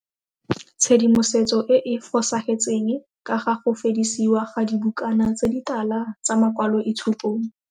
Tshedimosetso e e fosagetseng ka ga go fedisiwa ga dibukana tse ditala tsa makwaloitshupong.